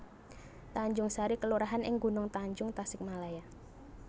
Tanjungsari kelurahan ing Gunungtanjung Tasikmalaya